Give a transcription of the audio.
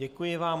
Děkuji vám.